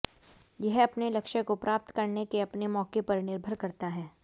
यह अपने लक्ष्य को प्राप्त करने के अपने मौके पर निर्भर करता है